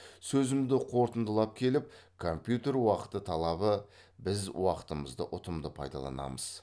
сөзімді қорытындылап келіп компьютер уақыт талабы біз уақытымызды ұтымды пайдаланамыз